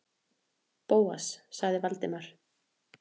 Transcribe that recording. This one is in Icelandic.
Bóas- sagði Valdimar.